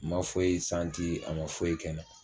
Ma foyi , a ma foyi kɛ na.